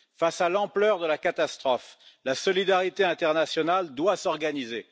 Face à l'ampleur de la catastrophe, la solidarité internationale doit s'organiser.